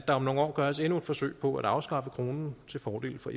om nogle år gøres endnu et forsøg på at afskaffe kronen til fordel for